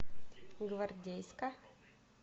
гвардейска